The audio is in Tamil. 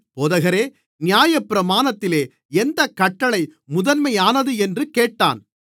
போதகரே நியாயப்பிரமாணத்திலே எந்தக் கட்டளை முதன்மையானது என்று கேட்டான்